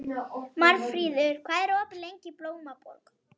Marfríður, hvað er opið lengi í Blómaborg?